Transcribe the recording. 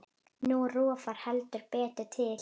Nú rofar heldur betur til.